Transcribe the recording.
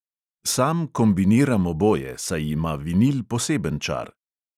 Sam kombiniram oboje, saj ima vinil poseben čar.